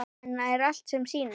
En er allt sem sýnist?